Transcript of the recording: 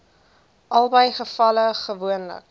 albei gevalle gewoonlik